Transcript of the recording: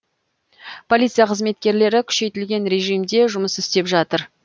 полиция қызметкерлері күшейтілген режимде жұмыс істеп жатыр